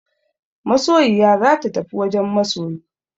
Masoyiya za ta tafi wajen masoyi.